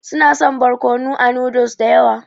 Su na son barkonu a noodles da yawa.